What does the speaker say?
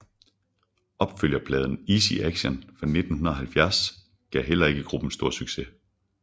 Opfølgerpladen Easy Action fra 1970 gav heller ikke gruppen stor succes